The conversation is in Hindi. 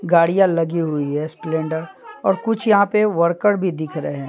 गाड़ियां लगी हुई है सिलेंडर और कुछ यहां पे वर्कर भी दिख रहे हैं।